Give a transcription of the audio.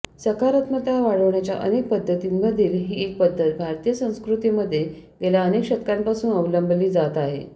सकारात्मकता वाढवण्याच्या अनेक पद्धतींमधील ही एक पद्धत भारतीय संस्कृतीमध्ये गेल्या अनेक शतकांपासून अवलंबली जात आहे